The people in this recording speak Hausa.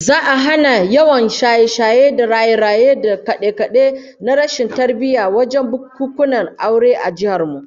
Za'a hana yawan shaye-shaye da raye-raye da kade-kade na rashin tarbiyya wajen bukunkunan aure a jihar mu